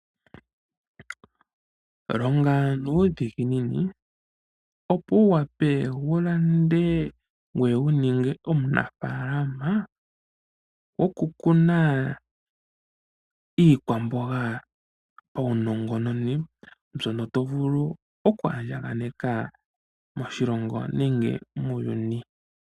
Longa nuudhiginini opo wu wape wulande ngweye wuninge omunafaalama goku kuna iikwamboga paunongononi , mbyono to vulu oku andjanganeka moshilongo nenge muuyuini .